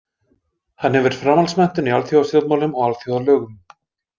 Hann hefur framhaldsmenntun í alþjóðastjórnmálum og alþjóðalögum.